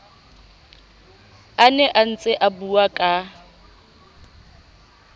a ne a ntseabua ka